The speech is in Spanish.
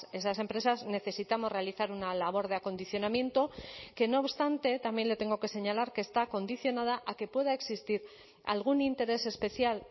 esas empresas necesitamos realizar una labor de acondicionamiento que no obstante también le tengo que señalar que está condicionada a que pueda existir algún interés especial